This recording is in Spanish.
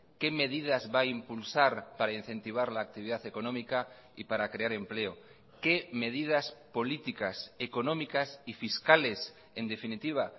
qué medidas va a impulsar para incentivar la actividad económica y para crear empleo qué medidas políticas económicas y fiscales en definitiva